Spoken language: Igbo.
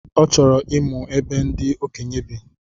Ọ chọrọ ịmụ ebe ndi okenye bi